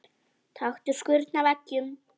Taktu skurn af eggjum.